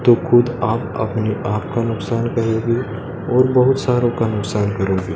तो खुद आप अपने आप का नुकसान करेंगे और बहुत सारो का नुकसान करेंगे।